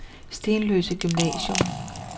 Stenløse Gymnasium